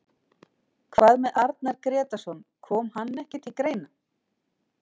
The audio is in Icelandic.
Hvað með Arnar Grétarsson, kom hann ekki til greina?